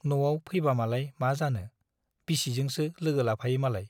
न'आव फैबामालाय मा जानो , बिसिजोंसो लोगो लाफायो मालाय ।